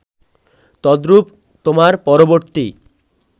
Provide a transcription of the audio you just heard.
তদ্রুপ তোমার পরবর্তী